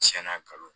Tiɲɛna kalo